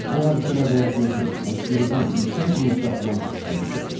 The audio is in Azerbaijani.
Bu hadisə mədəniyyətimizin, musiqimizin yüksək inkişafının nəticəsidir.